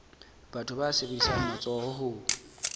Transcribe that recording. batho ba sebedisang matsoho ho